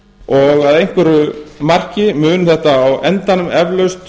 og að einhverju marki mun þetta á endanum eflaust